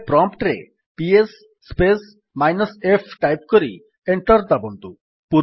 ଏବେ ପ୍ରମ୍ପ୍ଟ୍ ରେ PS space minus f type କରି ଏଣ୍ଟର୍ ଦାବନ୍ତୁ